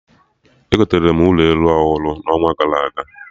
Egotere m ụlọ elu ọhụrụ n'ọnwa gara aga